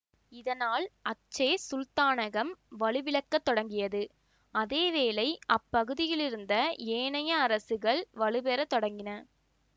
இதனால் அச்சே சுல்தானகம் வலுவிழக்கத் தொடங்கியது அதே வேளை அப்பகுதியிலிருந்த ஏனைய அரசுகள் வலுப்பெறத் தொடங்கின